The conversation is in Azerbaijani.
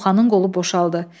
Koxanın qolu boşaldı.